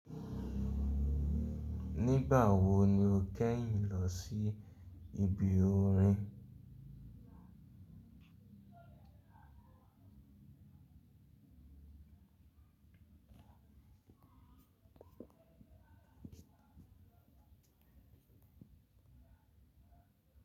Nígbà wo ni o kẹ́yìn lọ sí ibi orin?